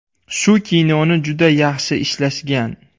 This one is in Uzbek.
Shu kinoni juda yaxshi ishlashgan.